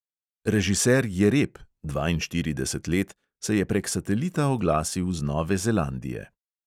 Režiser jereb (dvainštirideset let) se je prek satelita oglasil z nove zelandije.